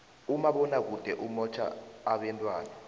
umabonakude umotjha abentwana